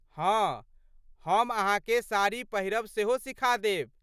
हँ, हम अहाँकेँ साड़ी पहिरब सेहो सिखा देब।